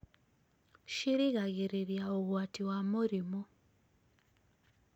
cirigagĩrĩria ũgwati wa mũrimũ